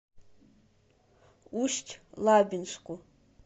усть лабинску